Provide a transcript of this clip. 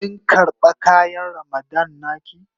Kin karba kayan Ramadan na ki?